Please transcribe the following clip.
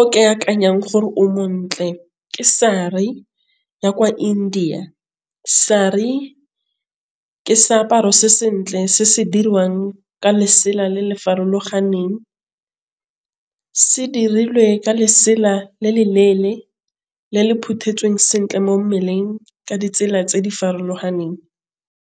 o ke akanyang gore o montle ke sari ya kwa India. Sari ke seaparo se se sentle ka se se dirwang ka lesela le le farologaneng. Se dirilwe ka lesela le le leele le le iphuthetsweng sentle mo mmeleng ka ditsela tse di farologaneng.